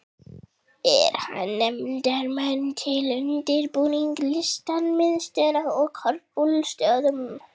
Er einn nefndarmanna til undirbúnings Listamiðstöð á Korpúlfsstöðum.